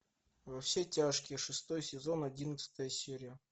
во все тяжкие шестой сезон одиннадцатая серия